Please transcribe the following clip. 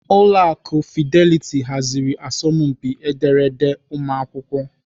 Ụlọ akụ Fidelity haziri asọmpi ederede ụmụakwụkwọ.